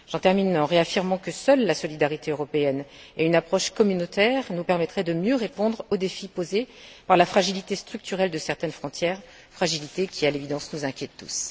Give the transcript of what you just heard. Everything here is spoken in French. J'en termine en réaffirmant que seule la solidarité européenne et une approche communautaire nous permettraient de mieux répondre au défi posé par la fragilité structurelle de certaines frontières, fragilité qui, à l'évidence, nous inquiète tous.